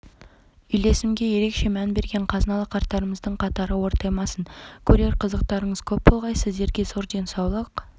үйлесімге ерекше мән берген қазыналы қарттарымыздың қатары ортаймасын көрер қызықтарыңыз көп болғай сіздерге зор денсаулық